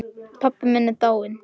Pabbi minn er dáinn.